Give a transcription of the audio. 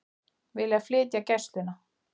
Vilja flytja Gæsluna